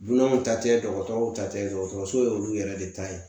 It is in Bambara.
Dunanw ta tɛ dɔgɔtɔrɔw ta tɛ dɔgɔtɔrɔso ye olu yɛrɛ de ta ye